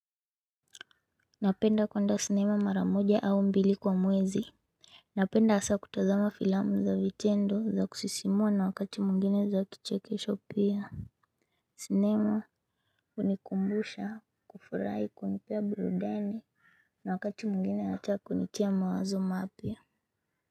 Napenda kwenda sinema maramoja au mbili kwa mwezi. Napenda asa kutazama filamu za vitendo za kusisimua na wakati mwingine za kichekesho pia. Sinema hunikumbusha kufurai kunipie birudani na wakati mwingine ata kunitia mawazo mapia.